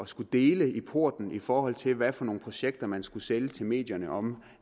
skulle dele i porten i forhold til hvad for nogle projekter man skulle sælge til medierne om